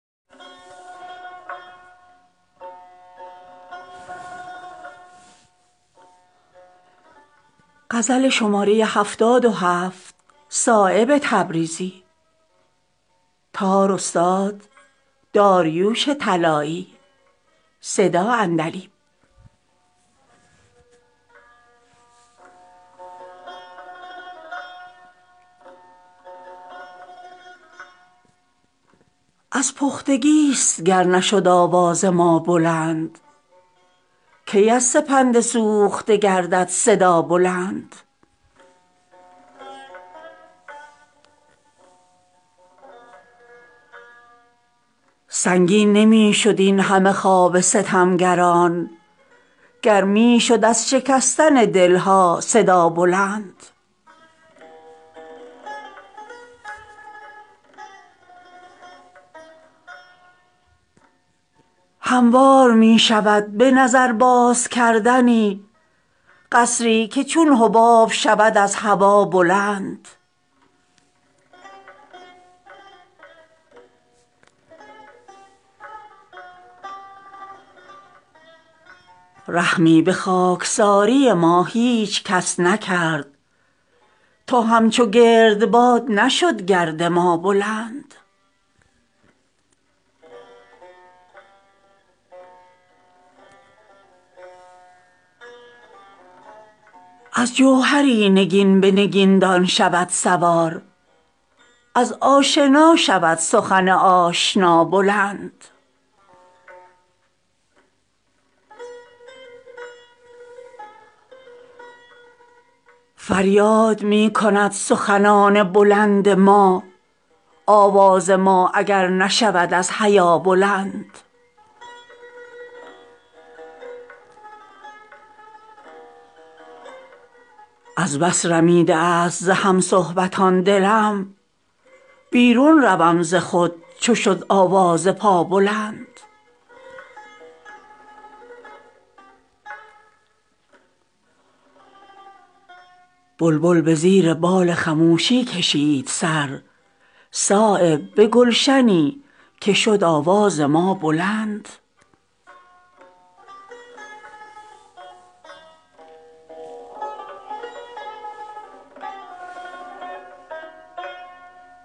از پختگی است گر نشد آواز ما بلند کی از سپند سوخته گردد صدا بلند از هر دوکون همت والای ما گذشت تا گرد این خدنگ شود از کجا بلند معراج اعتبار به قدر فتادگی است از سایه است رتبه بال هما بلند تختش بود چو کشتی نوح ایمن از خطر شد پایه شهی که ز دست دعا بلند همواره می شود به نظر باز کردنی قصری که چون حباب شود از هوا بلند رحمی به خاکساری ما هیچ کس نکرد تا همچو گردباد نشد گرد ما بلند رعناترست یک سر وگردن ز آفتاب هر سر که شد ز سجده آن خاکپا بلند سنگین نمی شود اینهمه خواب ستمگران می شد گر از شکستن دلها صدابلند درویش هم شکایت از ایام می کند از خاک نرم اگر شود آواز پابلند امیدها به عاقبت عمر داشتم غافل که دست حرص شود از عصا بلند از دود شد به دیده آتش جهان سیاه اینش سزا که کرد سر ناسزا بلند دلهای گرم سلسله جنبان گفتگوست بی آتش از سپند نگردد صدا بلند از جوهری نگین به نگین دان شود سوار از آشنا شود سخن آشنا بلند فریاد می کند سخنان بلندما آوازه ما اگر نشود از حیا بلند از بس رمیده است ز همصحبتان دلم بیرون روم ز خود چو شد آواز پابلند احسان بی سوال زبان بند خواهش است از دست کوته است زبان گدا بلند بلبل به زیر بال خموشی کشید سر صایب به گلشنی که شد آواز ما بلند